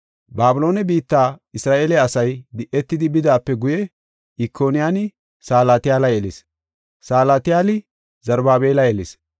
Babiloone biitta Isra7eele asay di7etidi bidaape guye Ikoniyaani Salatiyaala yelis. Salatiyaali Zarubaabela yelis;